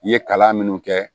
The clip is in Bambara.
I ye kalan minnu kɛ